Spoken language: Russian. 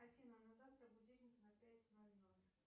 афина на завтра будильник на пять ноль ноль